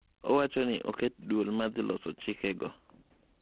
Owachoni oket duol madhiloso chike go.